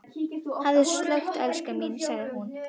Hafðu slökkt elskan mín, sagði hún.